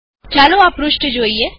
ચાલો આ પૃષ્ઠ જોઈએ